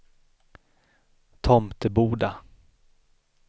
Tomteboda